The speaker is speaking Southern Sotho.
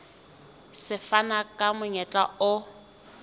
se fana ka monyetla o